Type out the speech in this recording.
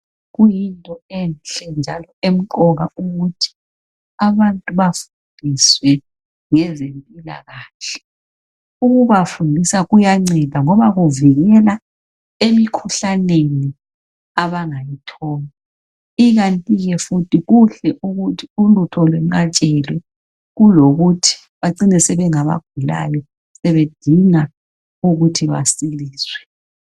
Kuyinto enhle njalo emqoka ukuthi abantu bafundiswe ngezempilakahle ukubafundisa kuyanceda ngoba kuvikela emikhuhlaneni abangayithola ikanti ke futhi kuhle ukuthi ulutho lwenqatshelwe kulokuthi bacine sebengabagulayo sebedinga ukuthi basiliswe.